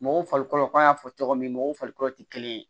Mɔgɔw farikolo an y'a fɔ cogo min mɔgɔw farikolo tɛ kelen ye